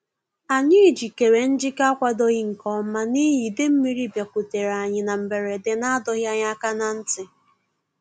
Anyị jikere njike a kwadoghị nke ọma n'ihi ide mmiri bịakutere anyị na mberede na-adọghị anyị aka na ntị